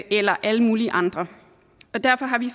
eller alle mulige andre og derfor har vi